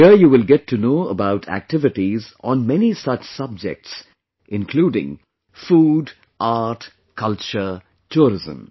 Here you will get to know about activities on many such subjects including food, art, culture, tourism